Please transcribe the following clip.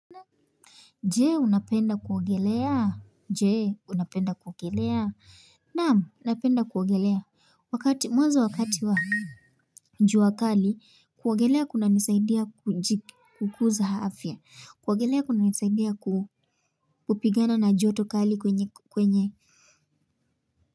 Je, unapenda kuogelea? Je, unapenda kuogelea? Naam, napenda kuogelea. Wakati, mwanzo wakati wa jua kali, kuogelea kunanisaidia kukuza afya. Kuogelea kunanisaidia kupigana na joto kali kwenye kwenye.